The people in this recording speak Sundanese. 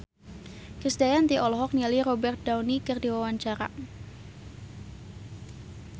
Krisdayanti olohok ningali Robert Downey keur diwawancara